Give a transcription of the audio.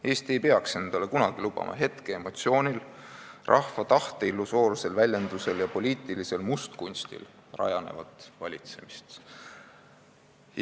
Eesti ei peaks endale kunagi lubama hetkeemotsioonil, rahva tahte illusoorsel väljendusel ja poliitilisel mustkunstil rajanevat valitsemist".